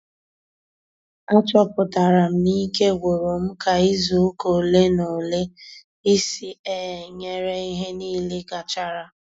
A chọpụtara m na ike gwụrụ m ka izu ụka ole na ole ịsị ee nyere ihe nile gachara